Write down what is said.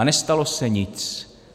A nestalo se nic.